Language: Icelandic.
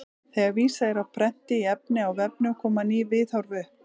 Þegar vísað er á prenti í efni á vefnum koma ný viðhorf upp.